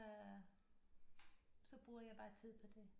Øh så bruger jeg bare tid på det